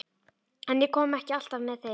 En ég kom ekki alltaf með heim.